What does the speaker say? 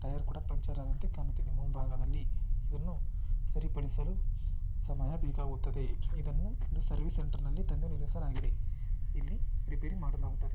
Tyre ಕೂಡ ಪಂಚರ ಆದಂತೆ ಕಾಣುತ್ತಿದೆ ಮುಂಭಾಗದಲ್ಲಿ. ಇದನ್ನು ಸರಿಪಡಿಸಲು ಸಮಯ ಬೇಕಾಗುತ್ತದೆ. ಇದನ್ನು ಸರ್ವಿಸ್ ಸೆಂಟರ್ ನಲ್ಲಿ ತಂದು ನಿಲ್ಲಿಸಲಾಗಿದೆ. ಇಲ್ಲಿ ರಿಪೇರಿ ಮಾಡಲಾಗುತ್ತದೆ.